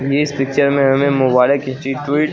इस पिक्चर में हमें मोबाइले खींची ट्विट --